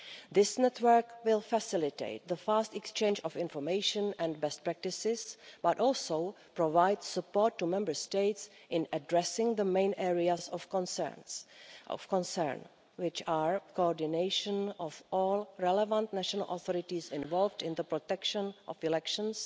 This network will facilitate the fast exchange of information and best practices, but also provide support to Member States in addressing the main areas of concern, which are coordination of all relevant national authorities involved in the protection of elections